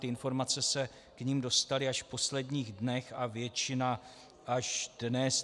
Ty informace se k nim dostaly až v posledních dnech a většina až dnes.